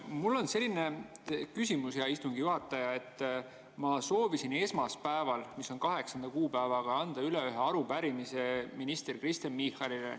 Mul on selline küsimus, hea istungi juhataja, et ma soovisin esmaspäeval, mis oli 8. kuupäev, anda üle arupärimise minister Kristen Michalile.